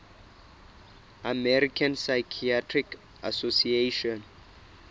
american psychiatric association